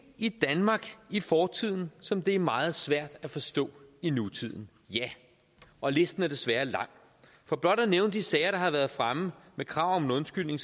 i danmark i fortiden som det er meget svært at forstå i nutiden ja og listen er desværre lang for blot at nævne de sager der har været fremme med krav om en undskyldning